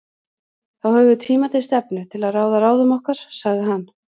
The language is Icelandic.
Þá höfum við tíma til stefnu til að ráða ráðum okkar, sagði hann.